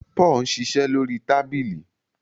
Paul ń ṣiṣẹ lórí tábìlì